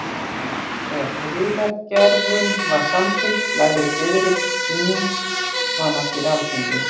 Þegar friðargerðin var samþykkt lagði Diðrik Píning hana fyrir Alþingi.